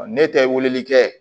Ne tɛ weleli kɛ